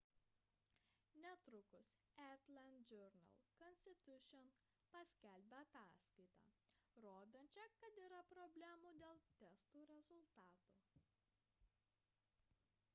netrukus atlanta journal-constitution paskelbė ataskaitą rodančią kad yra problemų dėl testų rezultatų